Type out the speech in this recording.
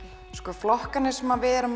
flokkarnir sem við